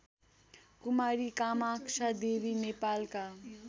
कुमारी कामाक्षादेवी नेपालका